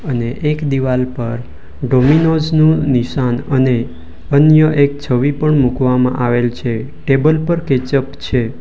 અને એક દિવાલ પર ડોમિનોઝ નું નિશાન અને અન્ય એક છવી પણ મૂકવામાં આવેલ છે ટેબલ પર કેચપ છે.